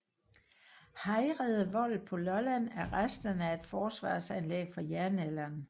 Hejrede Vold på Lolland er resterne af et forsvarsanlæg fra jernalderen